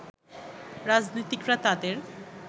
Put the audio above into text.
রাজনীতিকরা তাদের